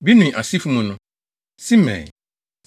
Binui asefo mu no: Simei,